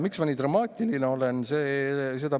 Miks ma nii dramaatiline olen?